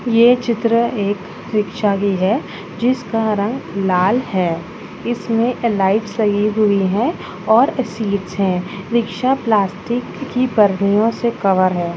ये चित्र एक रिक्शा की है जिसका रंग लाल है इसमे लाइट्स लगी हुई है और सीटस है रिक्शा प्लास्टिक की परनियों से कवर है।